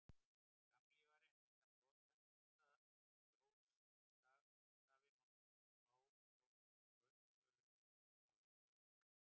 skammlífari en minna brothætta ljósstafi má stundum fá hjá götusölum á útihátíðum